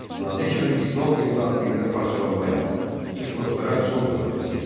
Nadir Şah İslam dini daxilində parçalanmaya, ixtilaflara son qoymaq istəyirdi.